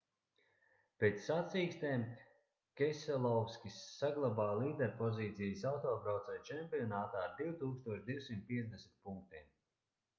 pēc sacīkstēm keselovskis saglabāja līderpozīcijas autobraucēju čempionātā ar 2250 punktiem